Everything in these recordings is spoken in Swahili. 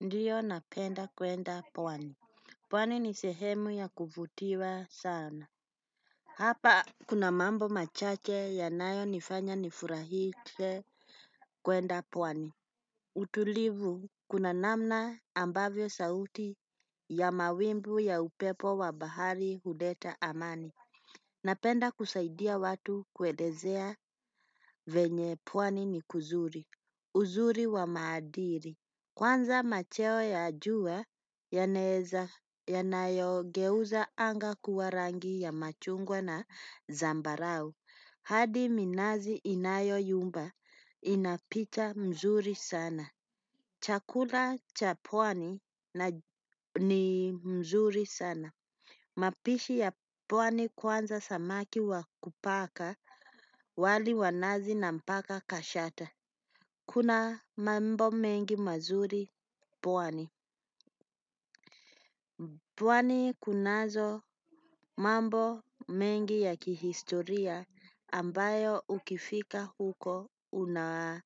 Ndiyo napenda kwenda pwani. Pwani ni sehemu ya kuvutiwa sana. Hapa kuna mambo machache yanayo nifanya nifurahike kwenda pwani. Utulivu kuna namna ambavyo sauti ya mawimbu ya upepo wa bahari huleta amani. Napenda kusaidia watu kuelezea venye pwani ni kuzuri. Uzuri wa maadili kwanza macheo ya jua yanaeza yanayo geuza anga kuwa rangi ya machungwa na zambarau. Hadi minazi inayo yumba ina picha mzuri sana. Chakula cha pwani ni mzuri sana. Mapishi ya pwani kwanza samaki wa kupaka wali wa nazi na mpaka kashata. Kuna mambo mengi mazuri pwani. Pwani kunazo mambo mengi ya kihistoria ambayo ukifika huko unayaona.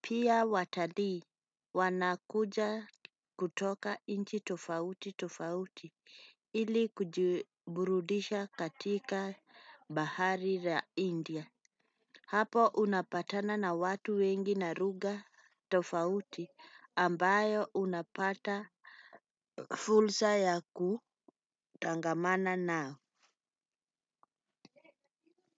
Pia watalii wanakuja kutoka nchi tofauti tofauti ili kujiburudisha katika bahari la India. Hapo unapatana na watu wengi na lugha tofauti ambayo unapata fursa ya kutangamana nao.